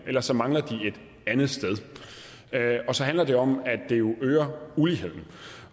ellers mangler de et andet sted og så handler det om at det jo øger uligheden